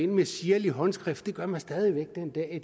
med sirlig håndskrift og det gør man stadig væk den dag i